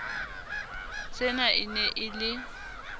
sena e ne e le